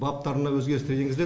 баптарына өзгерістер енгізіледі